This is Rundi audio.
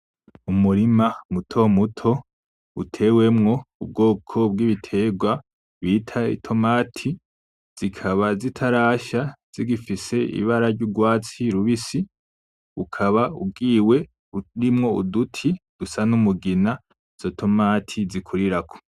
Umurima muto muto utewemwo ubwoko bw'ibiterwa bwitwa itomati zikaba zitarasha zigifise ibara ry'urwatsi rubisi, ukaba ugiwe urimwo uduti dusa n'umugina izo tomati zikurirako.